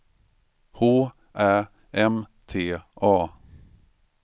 H Ä M T A